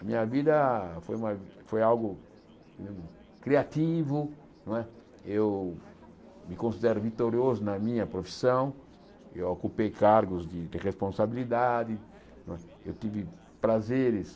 A minha vida foi uma foi algo criativo não é, eu me considero vitorioso na minha profissão, eu ocupei cargos de de responsabilidade não é, eu tive prazeres.